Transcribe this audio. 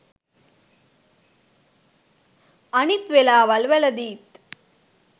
අනිත් වෙලාවල් වලදීත්